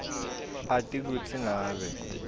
ati kutsi ngabe